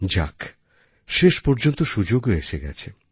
যাক শেষ পর্যন্ত সুযোগও এসে গেছে